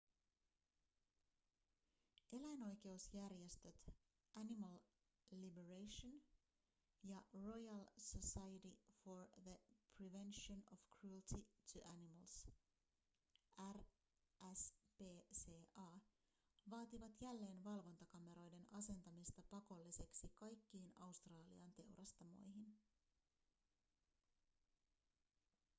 eläinoikeusjärjestöt animal liberation ja royal society for the prevention of cruelty to animals rspca vaativat jälleen valvontakameroiden asentamista pakolliseksi kaikkiin australian teurastamoihin